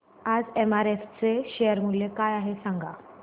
आज एमआरएफ चे शेअर मूल्य काय आहे सांगा